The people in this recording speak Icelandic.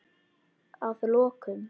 Að lokum.